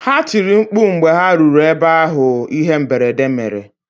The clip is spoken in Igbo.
Ha tiri mkpu mgbe ha ruru ebe ahụ ihe mberede mere